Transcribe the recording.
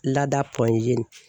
Lada .